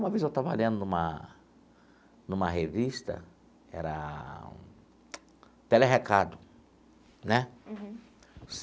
Uma vez, eu estava lendo numa numa revista, era tele recado né. Uhum.